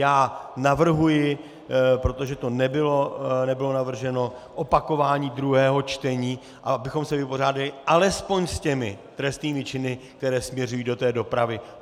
Já navrhuji, protože to nebylo navrženo, opakování druhého čtení, abychom se vypořádali alespoň s těmi trestnými činy, které směřují do té dopravy.